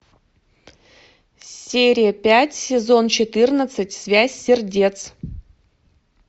серия пять сезон четырнадцать связь сердец